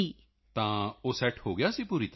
ਤਾਂ ਉਹ ਸੈੱਟ ਹੋ ਗਿਆ ਸੀ ਪੂਰੀ ਤਰ੍ਹਾਂ